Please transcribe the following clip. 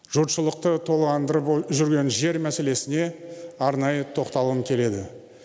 жұртшылықты толғандырып жүрген жер мәселесіне арнайы тоқталғым келеді